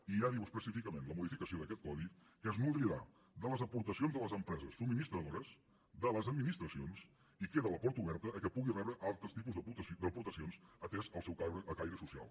i ja diu específicament la modificació d’aquest codi que es nodrirà de les aportacions de les empreses subministradores de les administracions i queda la porta oberta que pugui rebre altres tipus d’aportacions atès el seu caire social